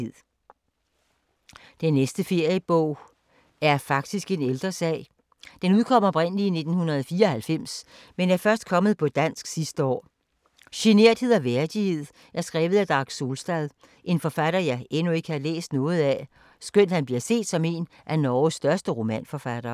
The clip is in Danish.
Den næste feriebog er faktisk en ældre sag. Den udkom oprindeligt i 1994, men er først kommet på dansk sidste år. Generthed og værdighed er skrevet af Dag Solstad, en forfatter jeg endnu ikke har læst noget af, skønt han bliver set som en af Norges største romanforfattere.